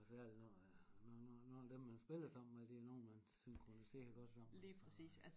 Og særligt når at når når når dem man spiller sammen med de er nogen man synkroniserer godt sammen altså